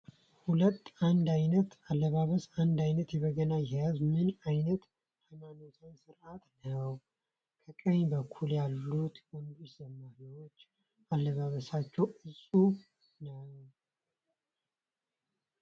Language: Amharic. ሁሉም አንድ አይነት አለባበስ! ፣ አንድ አይነት የበገና አያያዝ! ፣ ምን አይነት ሀይማኖታዊ ስርዓት ነዉ! ከቀኝ በኩል ያሉት ወንድ ዘማሪያን አለባበሳቸዉ እፁብ ነዉ።!